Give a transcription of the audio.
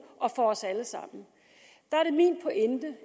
og for os alle sammen der er det min pointe